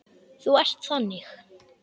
Þú ert þannig.